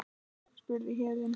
spurði Héðinn.